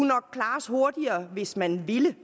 nok klares hurtigere hvis man ville